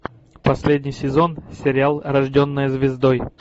последний сезон сериал рожденная звездой